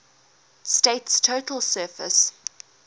state's total surface